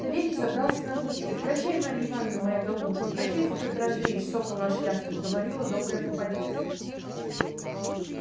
савельич забрался на облучок прощай марья ивановна моя голубушка прощайте пётр андреич сокол наш ясный говорила добрая попадья